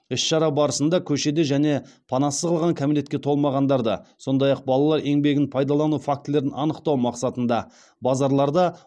іс шара барысында көшеде және панасыз қалған кәмелетке толмағандарды сондай ақ балалар еңбегін пайдалану фактілерін анықтау мақсатында базарларда